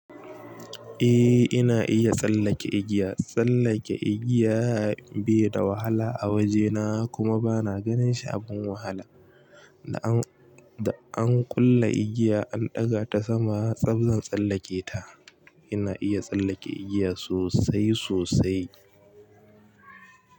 Eh ina iya tsallake igiya. Tsallake igiya bai da wahala a wajena kuma bana ganin sha abin wahala. Da an kulle igiya an ɗaga ta sama tsab zan tsallake ta. Ina iya tsallake igiya sosai sosai.